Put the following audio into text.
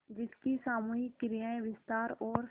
जिसकी सामूहिक क्रियाएँ विस्तार और